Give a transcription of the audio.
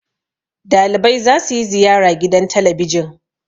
dalibai za su ziyara gidan talabijin